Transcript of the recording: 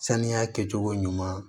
Sanuya kɛcogo ɲuman